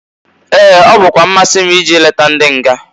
Ee! Ọ bụkwa mmasị m ije leta ndị nga.